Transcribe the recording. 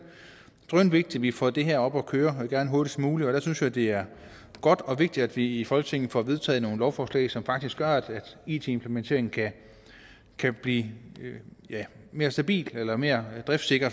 drønvigtigt at vi får det her op at køre og gerne hurtigst muligt og der synes jeg det er godt og vigtigt at vi i folketinget får vedtaget nogle lovforslag som faktisk gør at it implementeringen kan blive mere stabil eller mere driftsikker